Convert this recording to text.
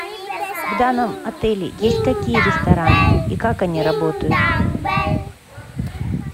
в данном отеле есть какие рестораны и как они работают